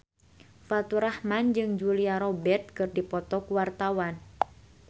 Faturrahman jeung Julia Robert keur dipoto ku wartawan